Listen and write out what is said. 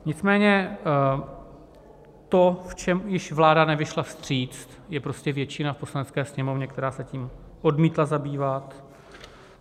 Nicméně to, v čem již vláda nevyšla vstříc, je prostě většina v Poslanecké sněmovně, která se tím odmítla zabývat.